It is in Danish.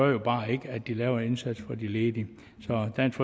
jo bare ikke at de laver en indsats for de ledige så dansk